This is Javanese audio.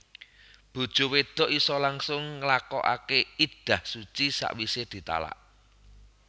Bojo wedok isa langsung nglakokake iddah suci sakwise ditalak